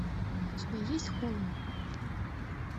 у тебя есть холм